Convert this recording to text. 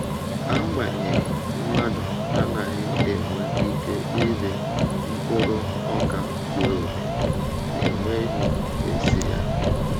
Agbanyeghị, mmadụ anaghị enwe ike iri mkpụrụ ọka zuru oke, na-enweghị esi ya.